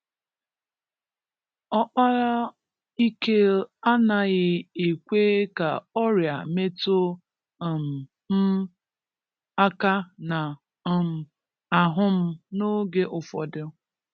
Òkpara IkeInaghì ekwè ka ọrịà metù um m akà na um àhú m n’oge ụfọdụ